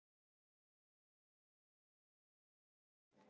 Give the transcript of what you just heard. Þið ætlið ekki að greiða reikninginn?